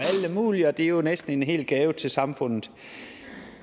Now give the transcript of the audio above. alle mulige og det er jo næsten en hel gave til samfundet